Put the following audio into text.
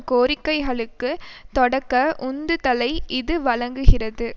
கோரிக்கைகளுக்கு தொடக்க உந்துதலை இது வழங்குகிறது